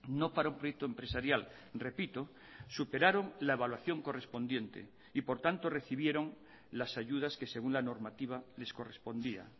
no para un proyecto empresarial repito superaron la evaluación correspondiente y por tanto recibieron las ayudas que según la normativa les correspondía